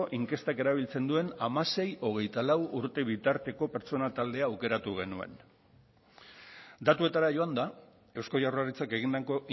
inkestak erabiltzen duen hamasei hogeita lau urte bitarteko pertsona taldea aukeratu genuen datuetara joanda eusko jaurlaritzak egindako